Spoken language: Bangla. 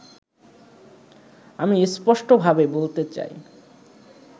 আমি স্পষ্টভাবে বলতে চাই